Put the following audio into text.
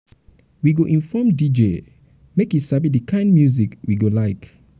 we go inform call um dj um make e sabi sabi the kind music we go like.